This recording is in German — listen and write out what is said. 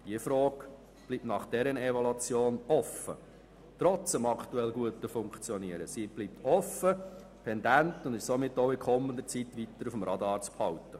Diese Fragen bleiben nach der vorliegenden Evaluation trotz des aktuell guten Funktionierens offen, deshalb sind sie weiterhin auf dem Radar zu behalten.